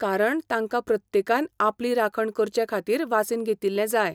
कारण तांका प्रत्येकान आपली राखण करचें खातीर वासीन घेतिल्लें जाय.